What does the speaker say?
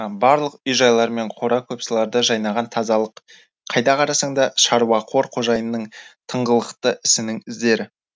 барлық үй жайлар мен қора көпсыларда жайнаған тазалық қайда қарасаң да шаруақор қожайынның тыңғылықты ісінің іздері